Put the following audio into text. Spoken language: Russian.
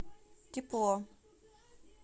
тепло